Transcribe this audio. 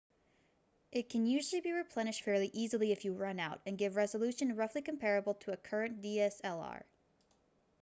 it can usually be replenished fairly easily if you run out and gives resolution roughly comparable to a current dslr